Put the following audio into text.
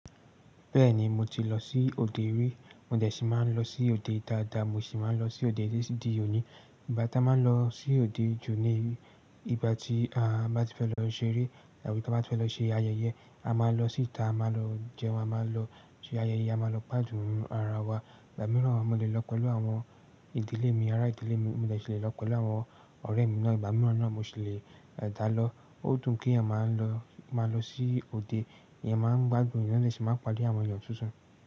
Bẹ́ẹ̀ni, mo ti lọ sí òde rí, mo dẹ̀ ṣì máa ń lọ sí òde dáadáa, mo sì máa ń lọ sí òde títí di òní. Ìgbà tá a máa ń lọ sí òde ju ní ìgbà tí a bá ti fẹ́ lọ ṣeré àbí tí a bá ti fẹ́ lọ ṣe ayẹyẹ, a máa lọ síta, a máa lọ jẹun, a máa lọ ṣe ayẹyẹ, a máa lọ gbádùn ara wa. Ìgbà mìíràn mo lè lọ pẹ̀lú àwọn ìdílé mi, ará ìdílé mi, mo lè ṣì lè lọ pẹ̀lú àwọn ọ̀rẹ́ mi náà. Ìgbà mìíràn náà mo sì lè dà lọ. Ó dùn kí èèyàn máa lọ, máa lọ sí òde, èèyàn máa ń gbádùn, èèyàn sì máa ń pàdé àwọn èèyàn tuntun.